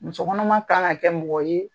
Musokɔnɔma kan ka kɛ mɔgɔ ye